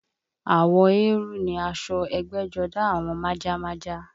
Àwọ̀ eérú ni aṣọ ẹgbẹ́jọdá àwọn májámájá